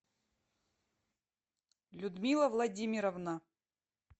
людмила владимировна